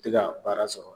Tɛ ka baara sɔrɔ